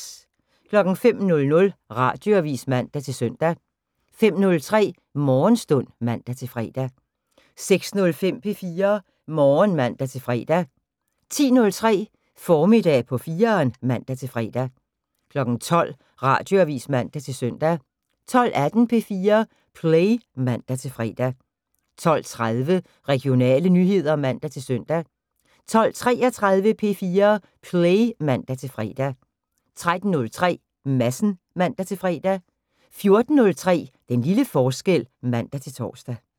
05:00: Radioavis (man-søn) 05:03: Morgenstund (man-fre) 06:05: P4 Morgen (man-fre) 10:03: Formiddag på 4'eren (man-fre) 12:00: Radioavis (man-søn) 12:18: P4 Play (man-fre) 12:30: Regionale nyheder (man-søn) 12:33: P4 Play (man-fre) 13:03: Madsen (man-fre) 14:03: Den lille forskel (man-tor)